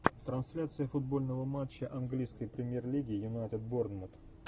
трансляция футбольного матча английской премьер лиги юнайтед борнмут